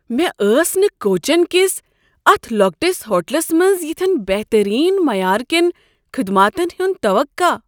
مےٚ ٲس نہٕ کوچین کس اتھ لۄکٹس ہوٹلس منٛز یتھین بٮ۪ہتٔریٖن معیار كین خدماتن ہُنٛد توقع۔